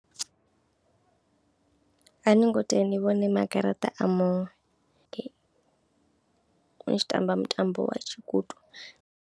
A no ngo tea ni vhone magataṱa a muṅwe ni tshi tamba mutambo wa tshikuṱu.